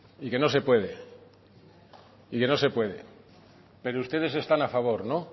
y que no se puede y que no se puede pero ustedes están a favor